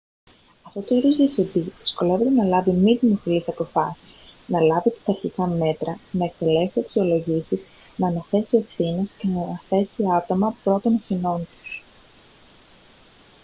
αυτό το είδος διευθυντή δυσκολεύεται να λάβει μη δημοφιλείς αποφάσεις να λάβει πειθαρχικά μέτρα να εκτελέσει αξιολογήσεις να αναθέσει ευθύνες και να θέσει άτομα προ των ευθυνών τους